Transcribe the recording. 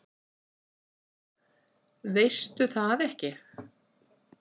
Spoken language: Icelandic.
Veistu það ekki?